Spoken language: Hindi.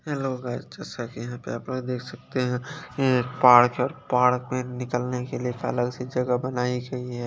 हेलो गाइस जैसा की आप यहां पर देख सकते है ये पार्क है पार्क में निकलने के लिए अलग सी जगह बनाई गयी है।